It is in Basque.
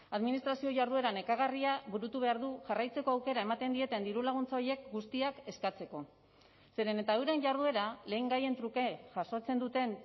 administrazio jarduera nekagarria burutu behar du jarraitzeko aukera ematen dieten dirulaguntza horiek guztiak eskatzeko zeren eta euren jarduera lehengaien truke jasotzen duten